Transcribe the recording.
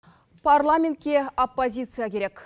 парламентке оппозиция керек